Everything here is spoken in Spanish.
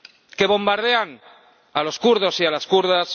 que bombardean a los kurdos y a las kurdas